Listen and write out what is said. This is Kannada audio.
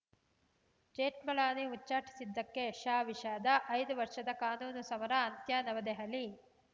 ಜೇಠ್ಮಲಾನಿ ಉಚ್ಛಾಟಿಸಿದ್ದಕ್ಕೆ ಶಾ ವಿಷಾದ ಐದು ವರ್ಷದ ಕಾನೂನು ಸಮರ ಅಂತ್ಯ ನವದೆಹಲಿ